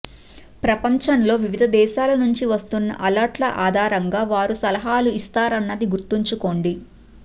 ప్రపంచంలో వివిధ దేశాలనుంచి వస్తున్న అలెర్ట్ ల ఆధారంగా వారు సలహాలు ఇస్తారన్నది గుర్తుంచుకొండి